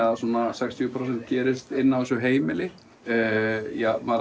svona sextíu prósent gerist inn á þessu heimili ég